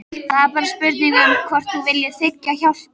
Það er bara spurning um hvort þú viljir þiggja hjálpina.